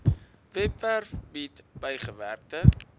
webwerf bied bygewerkte